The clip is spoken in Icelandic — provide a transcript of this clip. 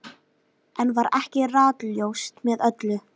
Enn var ekki ratljóst með öllu.